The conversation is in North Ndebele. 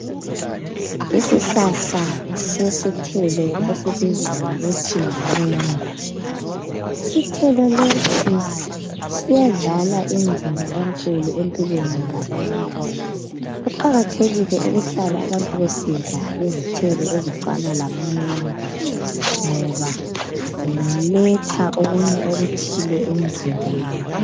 Isihlahla sesithelo esibizwa ngokuthi yimengo. Isithelo lesi siyadlala indima enkulu empilweni zabantu. Kuqakathekile ukuhlala abantu besidla izithelo ezifana lama mengo ngoba ziletha okunye okuthile emzimbeni.